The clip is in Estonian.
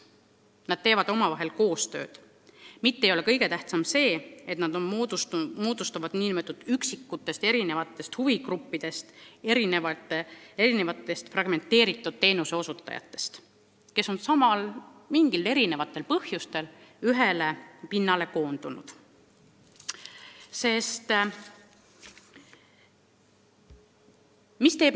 Nad teevad omavahel koostööd ja kõige tähtsam ei ole see, et tekivad üksikud huvigrupid erinevatest teenuseosutajatest, kes on mingil põhjusel ühele pinnale koondunud.